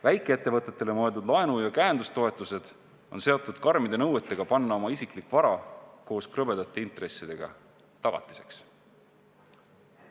Väikeettevõtetele mõeldud laenu- ja käendustoetused on seotud karmide nõuetega panna oma isiklik vara koos krõbedate intressidega tagatiseks.